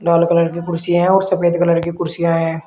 लाल colour की कुर्सियां हैं और सफेद कलर की कुर्सियां हैं।